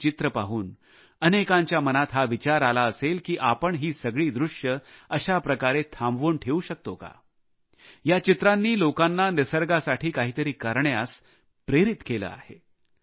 ही चित्रे पाहून अनेकांच्या मनात हा विचार आला असेल की आपण ही सगळी दृश्ये अशा प्रकारे थांबवून ठेऊ शकतो का या चित्रांनी लोकांना निसर्गासाठी काहीतरी करण्यास प्रेरित केले आहे